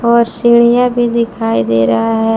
और सीढियाँ भी दिखाई दे रहा है।